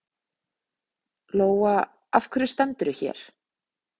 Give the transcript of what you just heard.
Lóa: Af hverju stendurðu hér?